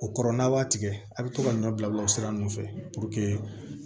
O kɔrɔ n'a b'a tigɛ a bɛ to ka ɲɔ bila o sira ninnu fɛ